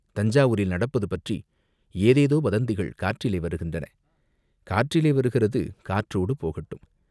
"தஞ்சாவூரில் நடப்பது பற்றி ஏதேதோ வதந்திகள் காற்றிலே வருகின்றன." "காற்றிலே வருகிறது காற்றோடு போகட்டும்!